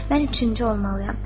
“Mən üçüncü olmalıyam.”